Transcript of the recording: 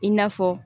I n'a fɔ